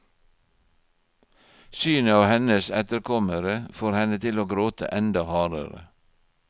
Synet av hennes etterkommere får henne til å gråte enda hardere.